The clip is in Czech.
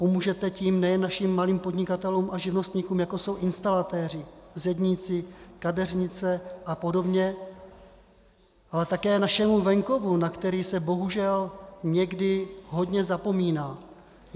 Pomůžete tím nejen našim malým podnikatelům a živnostníkům, jako jsou instalatéři, zedníci, kadeřnice a podobně, ale také našemu venkovu, na který se bohužel někdy hodně zapomíná.